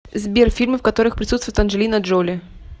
сбер фильмы в которых присутствует анджелина джоли